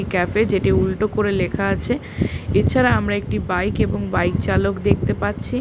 Cafe এ যেটি উল্টো করে লেখা আছে। এছাড়া আমরা একটি বাইক এবং বাইক চালক দেখতে পাচ্ছি।